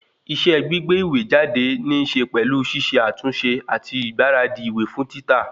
Iṣẹ́ gbígbé ìwé jáde níse pẹ̀lú ṣiṣe àtúnṣe àti ìgbáradì ìwé fún títà